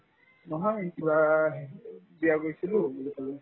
নহয় থোৱাহে বিয়াত গৈছিলো বুলি ক'লো